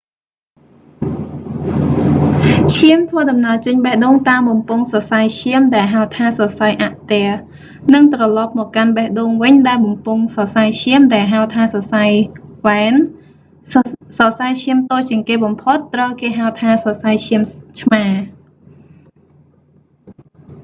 ឈាមធ្វើដំណើរចេញបេះដូងតាមបំពង់សរសៃឈាមដែលហៅថា សរសៃអាក់ទែរ និងត្រឡប់មកកាន់បេះដូងវិញដែលបំពង់សរសៃឈាមដែលហៅថាសរសៃវ៉ែន សរសៃឈាមតូចជាងគេបំផុត ត្រូវគេហៅថា សរសៃឈាមឆ្មារ